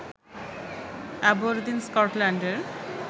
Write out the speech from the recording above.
Aberdeen স্কটল্যান্ডের